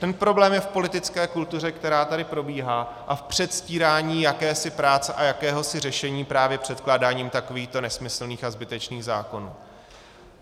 Ten problém je v politické kultuře, která tady probíhá, a v předstírání jakési práce a jakéhosi řešení právě předkládáním takovýchto nesmyslných a zbytečných zákonů.